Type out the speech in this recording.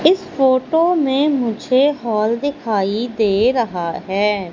इस फोटो में मुझे हॉल दिखाई दे रहा है।